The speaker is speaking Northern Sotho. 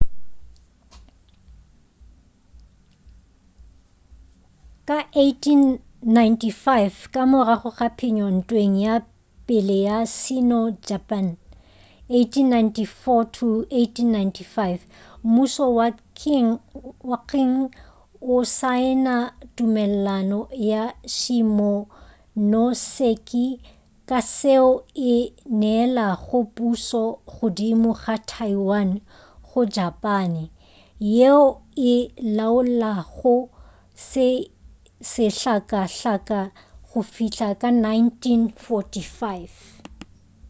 ka 1895 ka morago ga phenyo ntweng ya pele ya sino-japane 1894-1895 mmušo wa qing o saena tumelelano ya shimonoseki ka yeo e neelago pušo godimo ga taiwan go japane yeo e laolago sehlakahlaka go fihla ka 1945